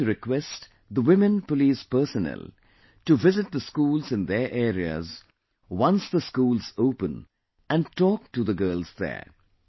I would like to request the women police personnel to visit the schools in their areas once the schools open and talk to the girls there